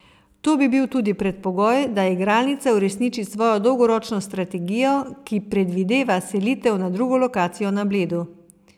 To bi bil tudi predpogoj, da igralnica uresniči svojo dolgoročno strategijo, ki predvideva selitev na drugo lokacijo na Bledu.